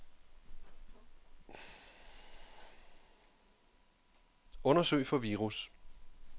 Undersøg for virus.